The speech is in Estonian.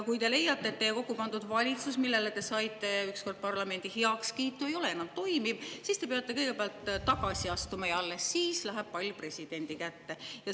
Kui te leiate, et teie kokku pandud valitsus, millele te saite ükskord parlamendi heakskiidu, ei ole enam toimiv, siis te peate kõigepealt tagasi astuma ja alles siis läheb pall presidendi kätte.